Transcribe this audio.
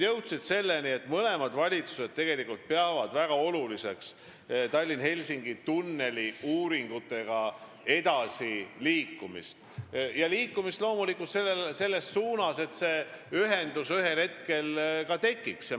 Me jõudsime selleni, et mõlemad valitsused peavad Tallinna–Helsingi tunneli uuringutega edasiliikumist väga oluliseks, ja loomulikult liikumist selles suunas, et see ühendus ühel hetkel ka tekiks.